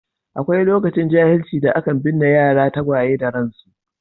Akwai lokacin jahilci da aka binne yara tagwaye da ransu.